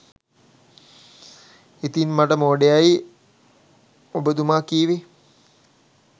ඉතින් මට මෝඩයයයි ඔබතුම කිවේ